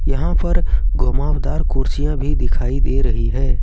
यहां पर घुमावदार कुर्सियां भी दिखाई दे रही है।